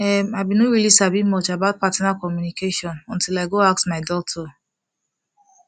em i been no really sabi much about partner communication until i go ask my doctor